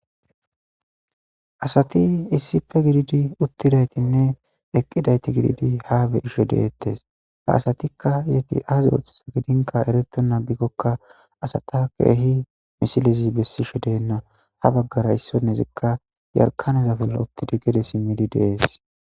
Asati issippe gididi uttidaytinne eqqidayti gididi ha be'ishe de'etees; ha asatikka eeti azi oothiza gidinka ereetena agikokka asata keehi misilezi besishe deena; ha bagaara issinozikka yarkaaneza bolla uttidi gede simiidi de'es.